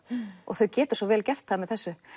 og þau geta svo vel gert það með þessu